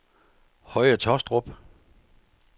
Høje Tåstrup